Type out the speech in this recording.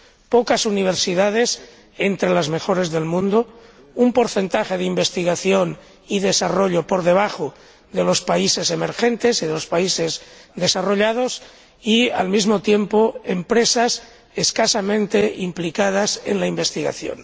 Pocas universidades entre las mejores del mundo, un porcentaje de investigación y desarrollo por debajo del de los países emergentes y los países desarrollados y, al mismo tiempo, empresas escasamente implicadas en la investigación.